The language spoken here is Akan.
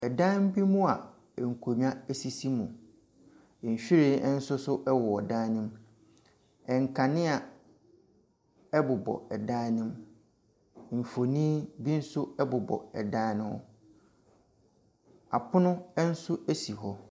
Ɔdan bi mua nkonnwa esisi mu. Nwhiren ɛnsoso ɛwɔ dan no mu. Nkanea ɛbobɔ ɛdan ne mu. Nfonni bi nso ɛbobɔ ɛdan ne ho. Apono ɛnso esi hɔ.